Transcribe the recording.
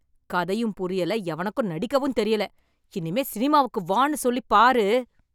கதையும் புரியல, எவனுக்கும் நடிக்கவும் தெரியல, இனிமே சினிமாவுக்கு வான்னு சொல்லிப் பாரு.